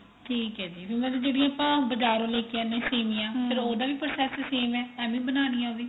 ਠੀਕ ਏ ਜੀ ਮਤਲਬ ਜਿਹੜੀ ਆਪਾਂ ਬਾਜਾਰੋ ਲੈ ਕੇ ਆਨੇ ਆ ਸੇਮੀਆਂ ਫੇਰ ਉਹਦਾ process same ਏ ਏਵੈ ਬਨਾਣੀਆਂ ਉਹ ਵੀ